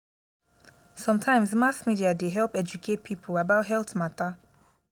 sometimes mass media dey help educate pipo about health mata.